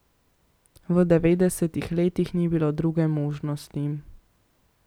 V devetdesetih letih ni bilo druge možnosti.